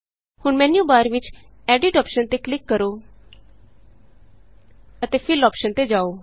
ਹੁਣ ਮੈਨਯੂਬਾਰ ਵਿਚ Editਅੋਪਸ਼ਨ ਤੇ ਕਲਿਕ ਕਰੋ ਅਤੇ ਫਿੱਲ ਅੋਪਸ਼ਨ ਤੇ ਜਾਉ